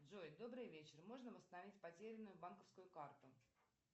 джой добрый вечер можно восстановить потерянную банковскую карту